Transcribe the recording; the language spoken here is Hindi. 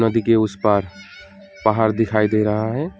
नदी के उस पार पहाड़ दिखाई दे रहा है।